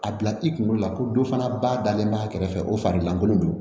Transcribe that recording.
A bila i kunkolo la ko dɔ fana ba dalen b'a kɛrɛfɛ o fari lankolon don